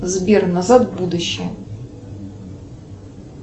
сбер назад в будущее